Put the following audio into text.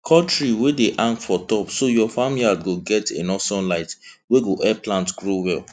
cut tree wey dey hang for top so your farm yard go get enough sunlight wey go help plants grow well